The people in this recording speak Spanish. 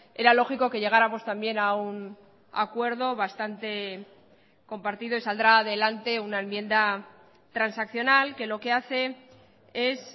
era lógico que llegáramos también a un acuerdo bastante compartido y saldrá adelante una enmienda transaccional que lo que hace es